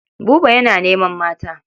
Buba yana neman mata.